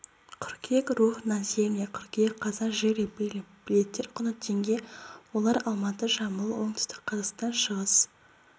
қыркүйек рух на земле қыркүйек қазан жили-были билеттер құны теңге олар алматы жамбыл оңтүстік қазақстан шығыс